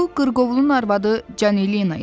Bu qırqovlun arvadı Canelina idi.